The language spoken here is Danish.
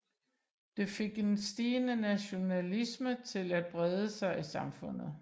Det fik en stigende nationalisme til at brede sig i samfundet